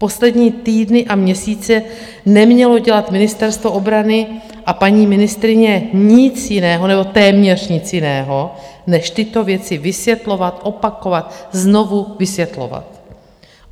Poslední týdny a měsíce nemělo dělat Ministerstvo obrany a paní ministryně nic jiného, nebo téměř nic jiného, než tyto věci vysvětlovat, opakovat, znovu vysvětlovat.